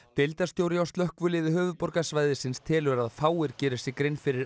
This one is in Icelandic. deildarstjóri hjá slökkviliði höfuðborgarsvæðisins telur að fáir geri sér grein fyrir